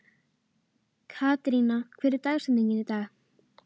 Katharina, hver er dagsetningin í dag?